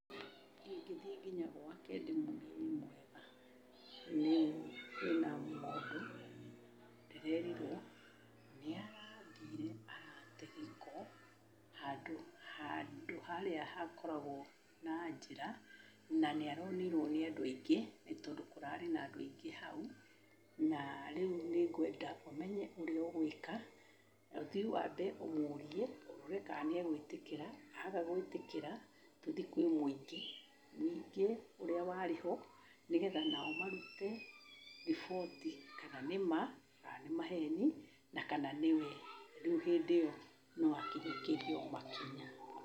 Ingĩthiĩ nginya gwake ndĩmũrie, "wĩ mwega? Rĩu kwĩna mũndũ ndĩreerirwo nĩ arathire arate gĩko handũ harĩa hakoragwo na njĩra, na nĩ aronirwo nĩ andũ aingĩ nĩ tondũ kũrarĩ na andũ aingĩ hau. Na rĩu nĩ ngwenda ũmenye ũrĩa ũgwĩka, na ũthi wambe ũmũrie, ũrore kana nĩ egũĩtĩkĩra. Aga gwĩtĩkĩra, tũthi kwĩ muingĩ, mũingĩ ũrĩa warĩ ho nĩgetha o nao marute riboti kana nĩ ma, kana nĩ maheni, na kana nĩ we. Rĩu hĩndĩ ĩyo no akinyũkĩrio makinya."